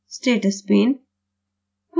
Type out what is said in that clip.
status pane